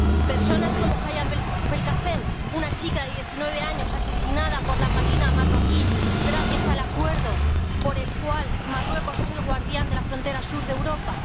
¿Personas como Hayat Belkacem, una chica de diecinueve años asesinada por la marina marroquí gracias al acuerdo por el cual Marruecos es el guardián de la frontera sur de Europa?